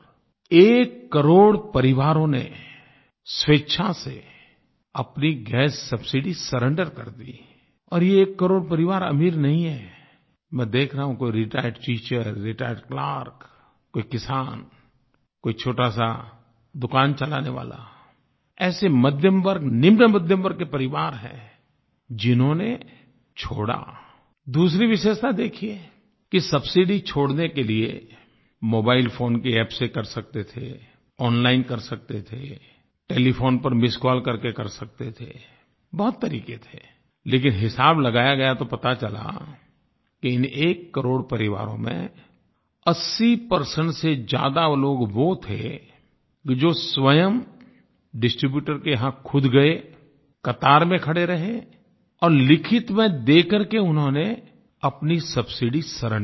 एककरोड़ परिवारों ने स्वेच्छा से अपनी गैस सबसिडी सुरेंद्र कर दीI और ये एक करोड़ परिवार अमीर नहीं हैंI मैं देख रहा हूँ कोई रिटायर्ड टीचर रिटायर्ड क्लर्क कोई किसान कोई छोटासा दुकान चलाने वाला ऐसे मध्यमवर्ग निम्न मध्यमवर्ग के परिवार हैं जिन्होंने छोड़ाI दूसरी विशेषता देखिए कि सबसिडी छोड़ने के लिए मोबाइल फोन की अप्प से कर सकते थे ओनलाइन कर सकते थे टेलीफोन पर मिस्ड कॉल करके कर सकते थे बहुत तरीके थेI लेकिन हिसाब लगाया गया तो पता चला कि इन एककरोड़ परिवारों में 80 परसेंट से ज्यादा लोग वो थे जो स्वयं डिस्ट्रीब्यूटर के यहाँ ख़ुद गए कतार में खड़े रहे और लिखित में देकर के उन्होंने अपनी सबसिडी सुरेंद्र कर दीI